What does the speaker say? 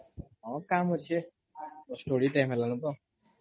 ହଁ କାମ୍ ଅଛେ audible ହେଲାନ ତ